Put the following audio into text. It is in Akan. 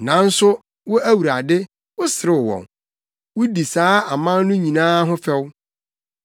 Nanso wo Awurade, woserew wɔn; wudi saa aman no nyinaa ho fɛw.